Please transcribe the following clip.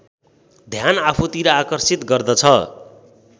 ध्यान आफूतिर आकर्षित गर्दछ